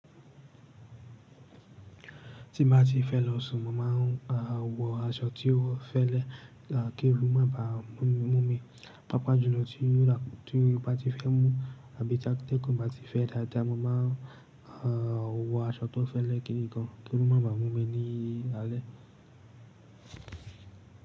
Tí n bá ti fẹ́ lọ sùn, mo màa n wọ aṣọ tí ó fẹ́lẹ́ kí oòrù má bà mú mi. Pápá jùlọ tí bá ti fẹ́ mú àbí tategun bá ti fẹ́ dáadáa, mo máa wọ aṣọ tó fẹ́lẹ́ kiri gan kí oòru má bà mú mi ní alẹ́.